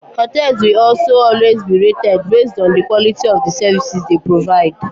Hotels will also always be rated based on the quality of the services they provide.